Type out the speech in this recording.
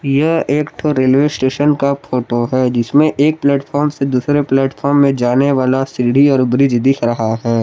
यह एक ठो रेलवे स्टेशन का फोटो है जिसमें एक प्लेटफार्म से दूसरे प्लेटफार्म में जाने वाला सीढ़ी और ब्रिज दिख रहा है।